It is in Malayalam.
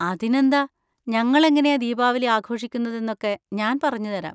അതിനെന്താ, ഞങ്ങൾ എങ്ങനെയാ ദീപാവലി ആഘോഷിക്കുന്നതെന്നൊക്കെ ഞാൻ പറഞ്ഞുതരാം.